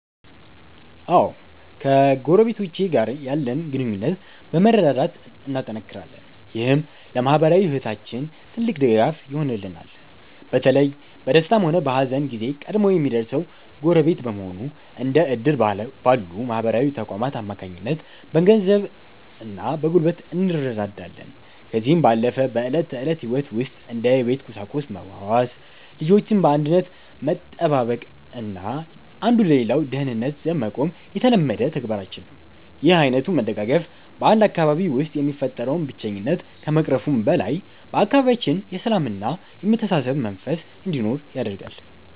አዎ ከጎረቤቶቼ ጋር ያለን ግንኙነት በመረዳዳት እናጠናክራለን። ይህም ለማኅበራዊ ሕይወታችን ትልቅ ድጋፍ ይሆነናል። በተለይ በደስታም ሆነ በሐዘን ጊዜ ቀድሞ የሚደርሰው ጎረቤት በመሆኑ፤ እንደ ዕድር ባሉ ማኅበራዊ ተቋማት አማካኝነት በገንዘብና በጉልበት እንረዳዳለን። ከዚህም ባለፈ በዕለት ተዕለት ሕይወት ውስጥ እንደ የቤት ቁሳቁስ መዋዋስ፤ ልጆችን በአንድነት መጠባበቅና አንዱ ለሌላው ደህንነት ዘብ መቆም የተለመደ ተግባራችን ነው። ይህ ዓይነቱ መደጋገፍ በ 1 አካባቢ ውስጥ የሚፈጠረውን ብቸኝነት ከመቅረፉም በላይ፤ በአካባቢያችን የሰላምና የመተሳሰብ መንፈስ እንዲኖር ያደርጋል።